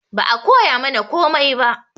Ba a koyamana komai ba